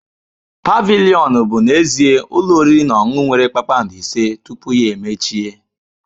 Pavilion bụ n'ezie ụlọ oriri na ọṅụṅụ nwere kpakpando ise tupu ya emechie.